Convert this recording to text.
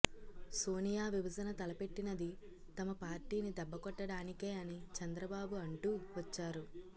సోనియా విభజన తలపెట్టినది తమ పార్టీని దెబ్బ కొట్టడానికే అని చంద్రబాబు అంటూ వచ్చారు